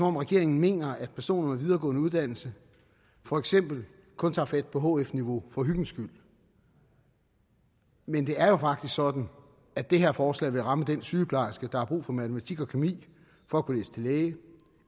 om regeringen mener at personer med videregående uddannelse for eksempel kun tager fat på hf niveau for hyggens skyld men det er jo faktisk sådan at det her forslag vil ramme den sygeplejerske der har brug for matematik og kemi for at kunne læse til læge